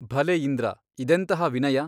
ಭಲೆ ಇಂದ್ರ ಇದೆಂತಹ ವಿನಯ !